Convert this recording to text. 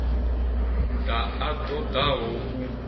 ḓa a ṱo ḓaho u